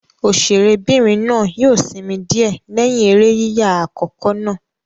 Òṣèré'bìnrin náà yóò sinmi díẹ̀ lẹ́yìn eré yíyà àkọ́kọ́ náà.